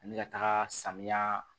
Ani ka taga samiya